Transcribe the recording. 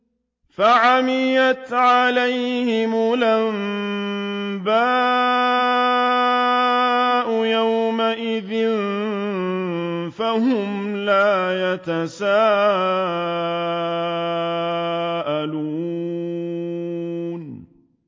فَعَمِيَتْ عَلَيْهِمُ الْأَنبَاءُ يَوْمَئِذٍ فَهُمْ لَا يَتَسَاءَلُونَ